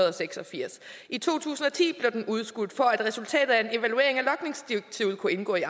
og seks og firs i to tusind og ti blev det udskudt for at resultatet af en evaluering af logningsdirektivet kunne indgå i